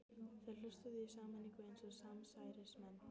Þeir hlustuðu í sameiningu eins og samsærismenn.